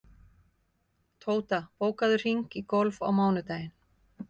Tóta, bókaðu hring í golf á mánudaginn.